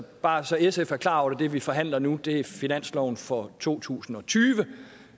bare så sf er klar over at det vi forhandler nu er finansloven for to tusind og tyve